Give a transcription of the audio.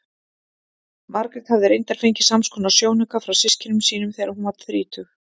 Margrét hafði reyndar fengið samskonar sjónauka frá systkinum sínum þegar hún varð þrítug.